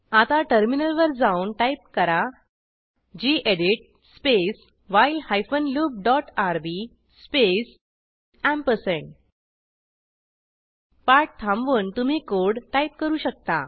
आता टर्मिनलवर जाऊन टाईप करा gedit space while hyphen loop dot rb space पाठ थांबवून तुम्ही कोड टाईप करू शकता